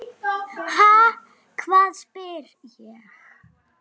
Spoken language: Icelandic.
Ha, hvað? spyr ég.